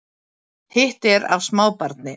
Hitt er af smábarni